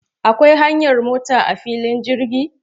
Akwai hanyar mota a filin jirgin?